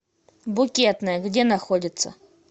букетная где находится